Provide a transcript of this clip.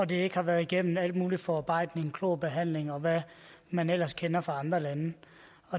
det ikke har været igennem al mulig forarbejdning klorbehandling og hvad man ellers kender fra andre lande